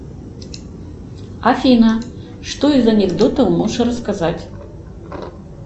афина что из анекдотов можешь рассказать